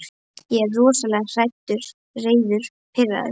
Ég er rosalega hræddur, reiður, pirraður.